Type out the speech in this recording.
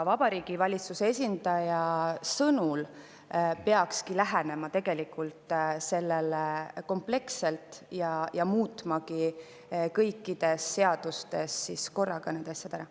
Vabariigi Valitsuse esindaja sõnul peaks sellele lähenema kompleksselt ja muutma kõikides seadustes korraga need asjad ära.